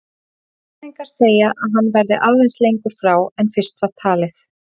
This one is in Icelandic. Sérfræðingar segja að hann verði lengur frá en fyrst var talið.